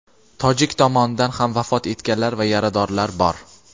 tojik tomonidan ham vafot etganlar va yaradorlar bor.